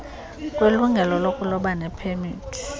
kwelungelo lokuloba nepemithi